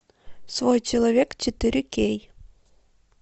свой человек четыре кей